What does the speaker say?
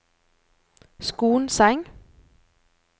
Skonseng